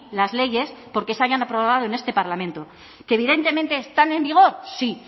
las leyes porque se hayan aprobado en este parlamento que evidentemente están en vigor sí